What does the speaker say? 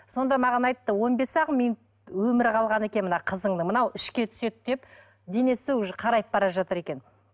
сонда маған айтты он бес ақ минут өмірі қалған екен мына қызыңның мынау ішке түседі деп денесі уже қарайып бара жатыр екен